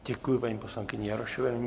Děkuji paní poslankyni Jarošové.